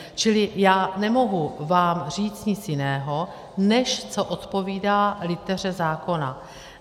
Čili já nemohu vám říct nic jiného, než co odpovídá liteře zákona.